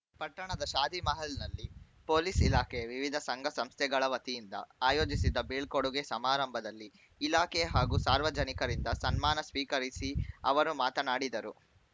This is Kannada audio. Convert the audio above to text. ಪಟ್ಟಣದ ಶಾದಿಮಹಲ್‌ನಲ್ಲಿ ಪೊಲೀಸ್‌ ಇಲಾಖೆ ವಿವಿಧ ಸಂಘಸಂಸ್ಥೆಗಳವತಿಯಿಂದ ಆಯೋಜಿಸಿದ್ದ ಬೀಳ್ಕೋಡುಗೆ ಸಮಾರಂಭದಲ್ಲಿ ಇಲಾಖೆ ಹಾಗೂ ಸಾರ್ವಜನಿಕರಿಂದ ಸನ್ಮಾನ ಸ್ವೀಕರಿಸಿ ಅವರು ಮಾತನಾಡಿದರು